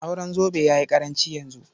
Auren zobe ya yi ƙaranci yanzu.